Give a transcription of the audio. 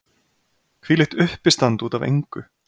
Hvílíkt uppistand út af engu!